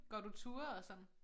Går du ture og sådan?